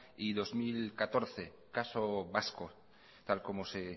y dos mil catorce caso vasco tal y como se